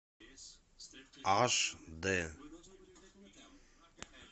аш дэ